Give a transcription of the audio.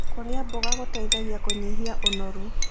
Kũrĩa mboga gũteĩthagĩa kũnyĩhĩa ũnorũ